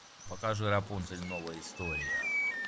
покажи рапунцель новая история